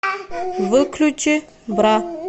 выключи бра